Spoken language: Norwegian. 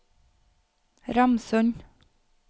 Ramsund